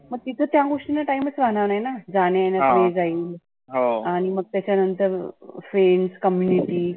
मग तिथं त्या गोष्टीला time चं राहणार नाही ना. जाण्या येण्यात जाईल. आणि मग त्याच्या नंतर friends, comunity